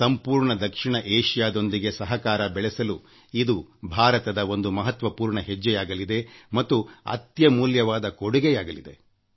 ಸಂಪೂರ್ಣ ದಕ್ಷಿಣ ಏಷಿಯಾದೊಂದಿಗೆ ಸಹಕಾರ ಬೆಳೆಸಲು ಇದು ಭಾರತದ ಒಂದು ಮಹತ್ವಪೂರ್ಣ ಹೆಜ್ಜೆಯಾಗಲಿದೆ ಮತ್ತು ಅತ್ಯಮೂಲ್ಯವಾದ ಕೊಡುಗೆಯಾಗಲಿದೆ